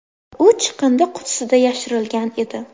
U chiqindi qutisida yashirilgan edi.